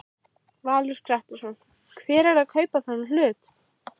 Valur Grettisson: Hver er að kaupa þennan hlut?